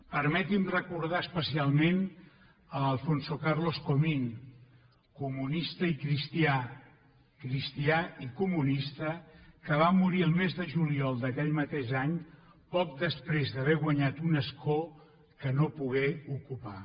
permeti’n me recordar especialment l’alfonso carlos comín comunista i cristià cristià i comunista que va morir el mes de juliol d’aquell mateix any poc després d’haver guanyat un escó que no pogué ocupar